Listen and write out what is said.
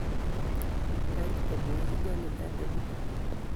Kany amwochi nyalilda napune